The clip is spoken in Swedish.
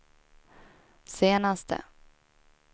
senaste